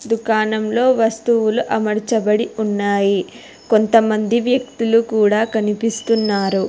దుకాణంలో వస్తువులు అమర్చబడి ఉన్నాయి కొంతమంది వ్యక్తులు కూడా కనిపిస్తున్నారు.